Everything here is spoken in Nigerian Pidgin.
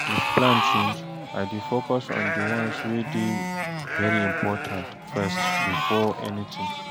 if plan change, I dey focus on di ones wey dey very important first bifor anytin